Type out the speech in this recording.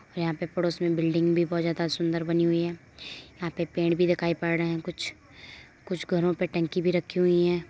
यहाँ पे पड़ोस में बिल्डिंग भी बोहोत ज्यादा सुंदर बनी हुई है यहाँ पे पेड़ भी दिखाई पढ़ रहे हैं कुछ कुछ घरों पे टंकी भी रखी हुई हैं।